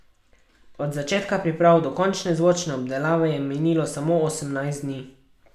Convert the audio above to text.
Od začetka priprav do končne zvočne obdelave je minilo samo osemnajst dni.